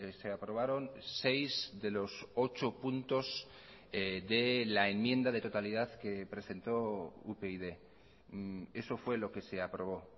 se aprobaron seis de los ocho puntos de la enmienda de totalidad que presentó upyd eso fue lo que se aprobó